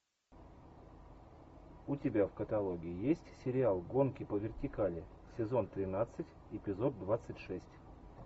у тебя в каталоге есть сериал гонки по вертикали сезон тринадцать эпизод двадцать шесть